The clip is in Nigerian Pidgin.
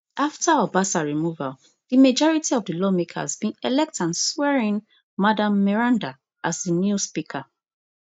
afta obasa removal di majority of di lawmakers bin elect and swearin madam meranda as di new speaker